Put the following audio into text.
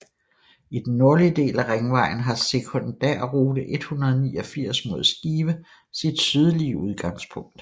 I den nordlige del af Ringvejen har sekundærrute 189 mod Skive sit sydlige udgangspunkt